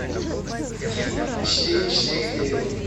четыре четыре девять